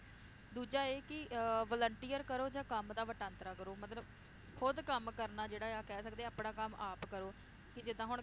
ਦੂਜਾ ਇਹ ਕਿ ਅਹ volunteer ਕਰੋ ਜਾਂ ਕੰਮ ਦਾ ਵਟਾਂਦਰਾ ਕਰੋ ਮਤਲਬ ਖੁਦ ਕੰਮ ਕਰਨਾ ਜਿਹੜਾ ਆ ਕਹਿ ਸਕਦੇ ਆ ਆਪਣਾ ਕੰਮ ਆਪ ਕਰੋ, ਕਿ ਜਿਦਾਂ ਹੁਣ,